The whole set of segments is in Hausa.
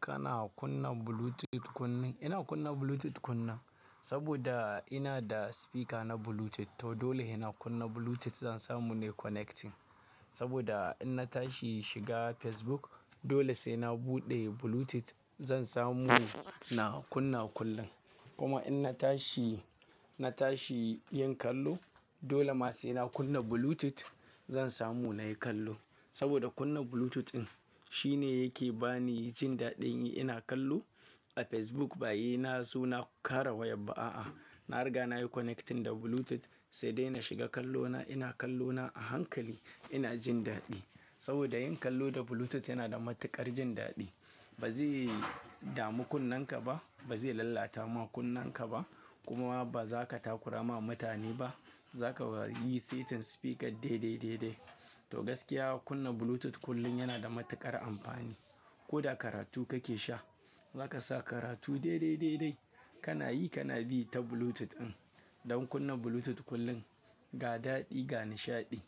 Kana kunna Bluetooth kunne, ina kunna Bluetooth kunne saboda ina da speaker na Bluetooth. To dole sai na kunna Bluetooth zan samu na yi connecting saboda in na tashi shiga Facebook dole sai na buɗe Bluetooth zan samu na kunna kullum. Kuma in na tashi, na tashi yin kallo dole ma sai na kunna Bluetooth zan samu na yi kallo. Saboda kunna Bluetooth in shine yake ba ni jin daɗi in ina kallo a Facebook bayi na so na ƙara waya ba a'a. Na riga na yi connecting da Bluetooth sai dai na shiga kallona ina kallona a hankali ina jin daɗi. Saboda yin kallo da Bluetooth yana da matuƙar jin daɗi. Ba zai dami kunnenka ba, ba zai lalata ma kunnenka ba kuma ba za ka takura ma mutane ba. Za ka yi setin speaker dai dai dai dai. To gaskiya kunna Bluetooth kullum yana da matuƙar amfani. Ko da karatu kake sha za ka sa karatu dai dai dai dai kana yi kana bi ta Bluetooth in. Don kunna Bluetooth kullum ga daɗi ga nishaɗi.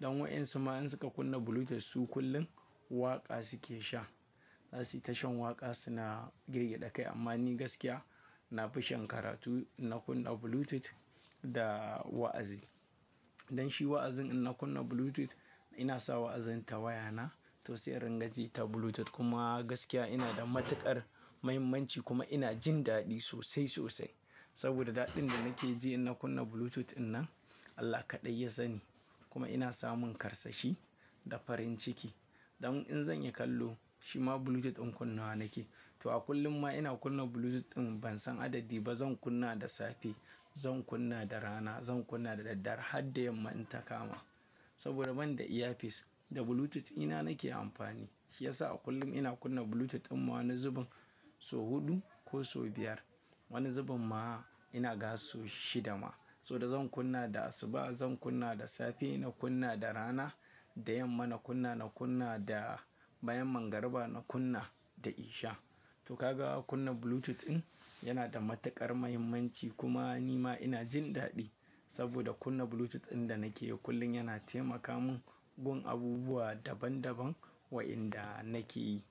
Don waɗansu ma in suka kunna Bluetooth su kullum waƙa suke sha. Asi tashan waƙa suna girgida kai amma ni gaskiya na fi shan karatu ina kunna Bluetooth da wa'azi. Don shi wa'azin ina kunna Bluetooth ina sa wa'azin ta waya na to sai ringa ji ta Bluetooth kuma gaskiya ina da matuƙar muhimmanci kuma ina jin daɗi sosai sosai. Saboda daɗin da nake ji ina kunna Bluetooth in nan Allah kaɗai ya sani. Kuma ina samun karsashi da farin ciki. Don in zan yi kallo shima Bluetooth in kunna nake. To a kullum ma ina kunna Bluetooth in ban san adadi ba zan kunna da safe, zan kunna da rana, zan kunna da daddare har da yamma in ta kama. Saboda ban da earpiece da Bluetooth ina nake amfani shiyasa a kullum ina kunna Bluetooth in ma wani zubin so huɗu ko so biyar. Wani zubin ma ina gasa shida ma. Saboda zan kunna da asuba, zan kunna da safe, ina kunna da rana, da yamma na kunna, na kunna da bayan magriba, na kunna da isha. To ka ga kuna Bluetooth in yana da matuƙar muhimmanci kuma ni ma ina jin daɗi saboda kunna Bluetooth in da nake yi kullum yana taimaka mun gun abubuwa daban daban wa inda nake yi.